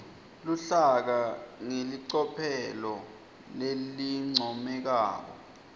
luhlaka ngelicophelo lelincomekako